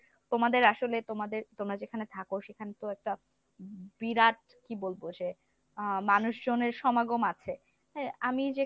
তোমাদের আসলে তোমাদের তোমরা যেখানে থাকো সেখানে তো একটা বিরাট কি বলবো সে আহ মানুষজনের সমাগম আছে, হ্যা আমি যে